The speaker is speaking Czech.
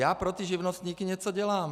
Já pro ty živnostníky něco dělám.